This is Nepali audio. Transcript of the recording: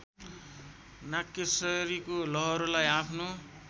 नागकेशरीको लहरोलाई आफ्नो